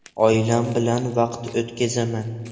Oilam bilan vaqt o‘tkazaman.